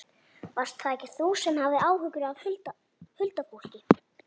Varst það ekki þú sem hafðir áhuga á huldufólki?